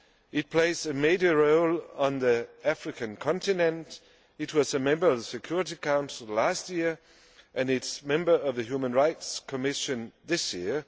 It plays a major role on the African continent, it was a member of the Security Council last year and is a member of the Human Rights Commission this year.